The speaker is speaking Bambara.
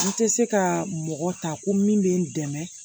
N tɛ se ka mɔgɔ ta ko min bɛ n dɛmɛ